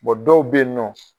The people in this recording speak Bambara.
dɔw bɛ yen nɔ